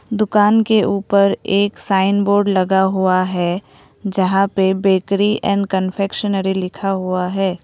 दुकान के ऊपर एक साइन बोर्ड लगा हुआ है जहां पे बेकरी एंड कन्फेक्शनरी लिखा हुआ है।